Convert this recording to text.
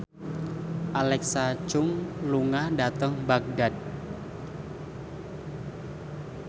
Alexa Chung lunga dhateng Baghdad